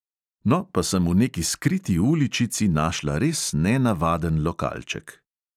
No, pa sem v neki skriti uličici našla res nenavaden lokalček.